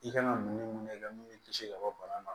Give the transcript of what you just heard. I kan ka mun ni mun i ka munni kisi ka bɔ bana ma